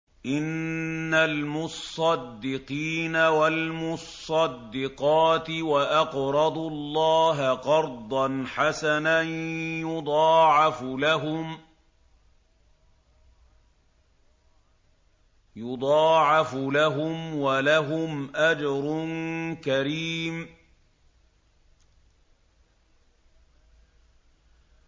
إِنَّ الْمُصَّدِّقِينَ وَالْمُصَّدِّقَاتِ وَأَقْرَضُوا اللَّهَ قَرْضًا حَسَنًا يُضَاعَفُ لَهُمْ وَلَهُمْ أَجْرٌ كَرِيمٌ